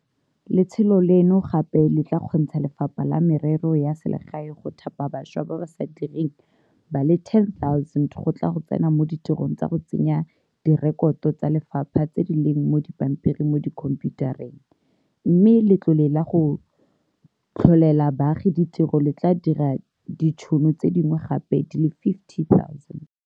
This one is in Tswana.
Letsholo leno gape le tla kgontsha Lefapha la Merero ya Selegae go thapa bašwa ba ba sa direng ba le 10 000 go tla go tsena mo ditirong tsa go tsenya direkoto tsa lefapha tse di leng mo dipampiring mo dikhomphiutareng, mme Le tlole la go Tlholela Baagi Ditiro le tla dira ditšhono tse dingwe gape di le 50 000.